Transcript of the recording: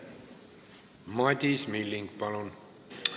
Madis Milling, palun!